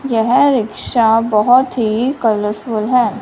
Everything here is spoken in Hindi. यह रिक्शा बहुत ही कलरफुल है।